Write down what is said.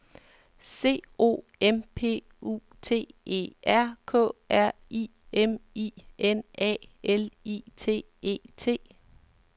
C O M P U T E R K R I M I N A L I T E T